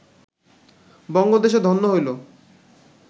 বঙ্গদেশে ধন্য হইল